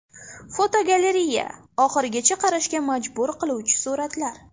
Fotogalereya: Oxirigacha qarashga majbur qiluvchi suratlar.